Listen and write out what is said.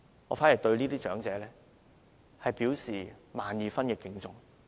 我對這些長者表示萬二分敬重。